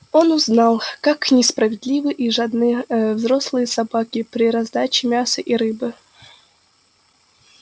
он узнал как несправедливы и жадны ээ взрослые собаки при раздаче мяса и рыбы